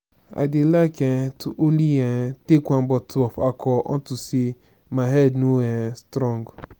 i dey like um to only um take one bottle of alcohol unto say my head no um strong